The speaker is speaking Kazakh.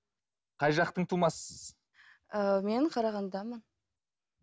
қай жақтың тумасысыз ыыы мен қарағандыданмын